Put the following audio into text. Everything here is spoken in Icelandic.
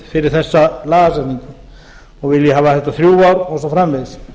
fyrir þessa lagagrein og vilji hafa þetta þær ár og svo framvegis